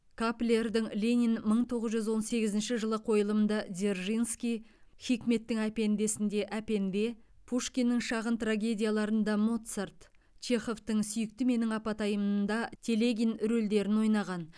каплердің ленин мың тоғыз жүз он сегізінші жылы қойылымды дзержинский хикметтің әпенде сінде әпенде пушкиннің шағын трагедиялар ында моцарт чеховтың сүйікті менің апатайым ында телегин рөлдерін ойнаған